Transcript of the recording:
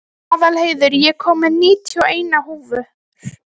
Aðalheiður, ég kom með níutíu og eina húfur!